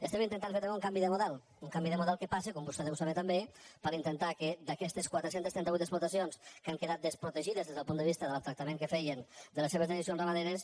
estem intentant també fer un canvi de model un canvi de model que passa com vostè deu saber també per intentar que d’aquestes quatre cents i trenta vuit explotacions que han quedat desprotegides des del punt de vista del tractament que feien de les seves dejeccions ramaderes